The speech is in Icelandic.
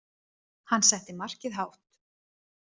Hann setti markið hátt.